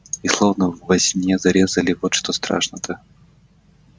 и словно во сне зарезали вот что страшно-то